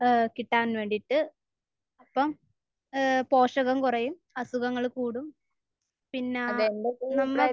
ഏഹ് കിട്ടാൻ വേണ്ടിയിട്ട്. അപ്പോൾ ഏഹ് പോഷകം കുറയും. അസുഖങ്ങൾ കൂടും. പിന്നേ നമ്മൾ